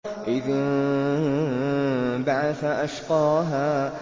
إِذِ انبَعَثَ أَشْقَاهَا